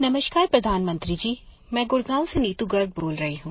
नमस्कार प्रधानमंत्री जी मैं गुड़गांव से नीतू गर्ग बोल रही हूँ